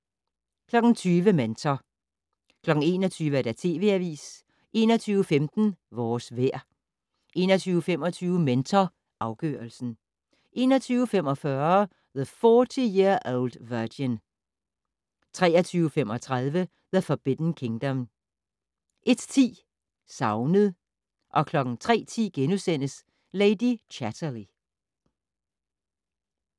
20:00: Mentor 21:00: TV Avisen 21:15: Vores vejr 21:25: Mentor afgørelsen 21:45: The 40 Year Old Virgin 23:35: The Forbidden Kingdom 01:10: Savnet 03:10: Lady Chatterley *